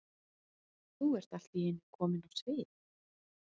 Þú ert allt í einu komin á svið?